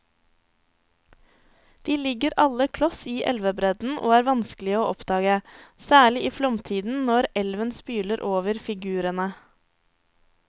De ligger alle kloss i elvebredden og er vanskelige å oppdage, særlig i flomtiden når elven spyler over figurene.